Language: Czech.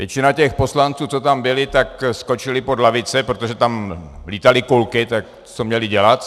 Většina těch poslanců, co tam byli, tak skočili pod lavice, protože tam lítaly kulky, tak co měli dělat?